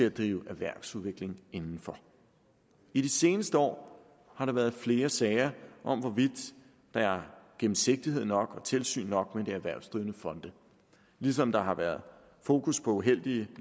at drive erhvervsudvikling inden for i de seneste år har der været flere sager om hvorvidt der er gennemsigtighed nok og tilsyn nok med de erhvervsdrivende fonde ligesom der har været fokus på uheldige